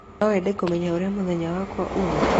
No wende kũmenya ũrĩa mũthenya wakwa ũrĩa ũũma